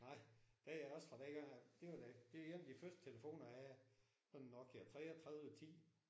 Nej. Det er også fra dengang det var da det er en af de første telefoner jeg havde. Sådan en Nokia 33 10